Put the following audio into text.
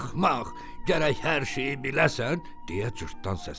Axmaq, gərək hər şeyi biləsən deyə cırtdan səsləndi.